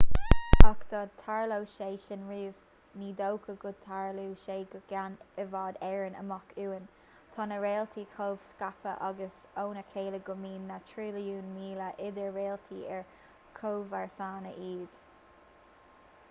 ach dá dtarlódh sé sin riamh ní dócha go dtarlódh sé go ceann i bhfad éireann amach uainn tá na réaltaí chomh scaipthe amach óna chéile go mbíonn na trilliúin míle idir réaltaí ar chomharsana iad